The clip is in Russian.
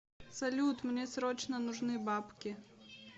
салют мне срочно нужны бабки